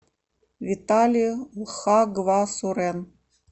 виталия хагвасурен